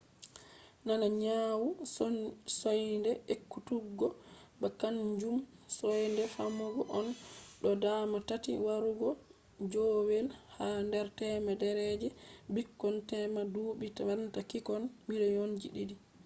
nana nyawu soinde ekkutuggo ba kaanjum soinde fammugo on; ɗo dama tati warugo joowey ha nder temere je ɓikkon tema duɓɓi banta ɓikkon miliyon ɗiɗi